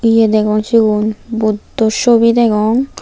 ye degong sigun buddo sobi degong.